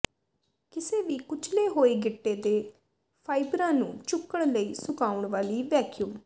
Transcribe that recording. ਕਿਸੇ ਵੀ ਕੁਚਲੇ ਹੋਏ ਗਿੱਟੇ ਦੇ ਫਾਈਬਰਾਂ ਨੂੰ ਚੁੱਕਣ ਲਈ ਸੁਕਾਉਣ ਵਾਲੀ ਵੈਕਿਊਮ